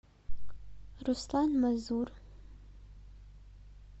руслан мазур